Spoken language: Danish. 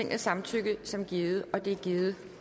jeg samtykket som givet det er givet